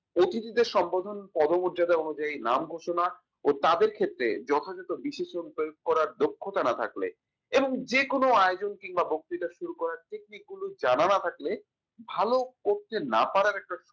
অতিথিদের সম্বোধন কত মর্যাদা অনুযায়ী নাম ঘোষণা ও তাদের ক্ষেত্রে যথাযথ বিশেষজ্ঞ বের করা দক্ষতা না থাকলে এবং যেকোনো আয়োজন কিংবা বক্তৃতা শুরু করার technique গুলো জানানো থাকলে ভালো করতে না পারার একটা